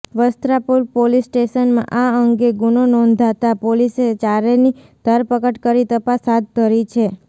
Vastrapur police સ્ટેશનમાં આ અંગે ગુનો નોધાતા પોલીસે ચારેની ધરપકડ કરી તપાસ હાથ ધરી છે